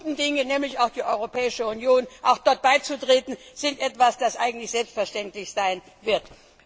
Die guten Dinge, nämlich die Europäische Union, auch dort beizutreten, sind etwas, das selbstverständlich sein wird.